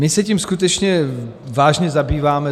My se tím skutečně vážně zabýváme.